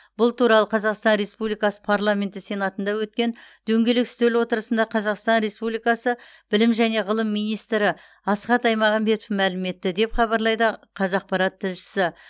бұл туралы қазақстан республикасы параменті сенатында өткен дөңгелек үстел отырысында қазақстан республикасы білім және ғылым министрі асхат аймағамбетов мәлім етті деп хабарлайды қазақпарат тілшісі